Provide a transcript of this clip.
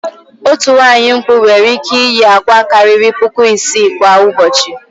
Otu nwaanyị mkpụ nwere ị́kẹ́ iyi àkwá karịrị puku isii kwa ụbọchị.